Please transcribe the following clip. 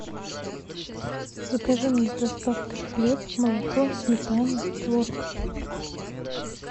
закажи мне с доставкой хлеб молоко сметану творог